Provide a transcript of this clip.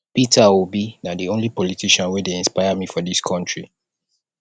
peter obi na di only politician wey dey inspire me for dis country